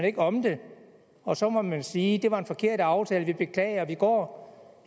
ikke om det og så må man sige det var en forkert aftale vi beklager vi går